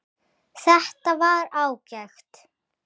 Þetta var ágætt